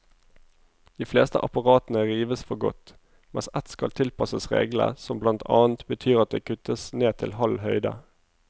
De fleste apparatene rives for godt, mens ett skal tilpasses reglene, som blant annet betyr at det kuttes ned til halv høyde.